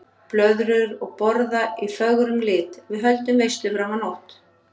Blöðrur og borða í fögrum lit, við höldum veislu fram á nótt.